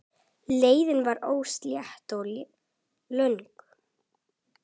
Leiðin var óslétt og löng.